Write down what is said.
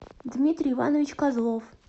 дмитрий иванович козлов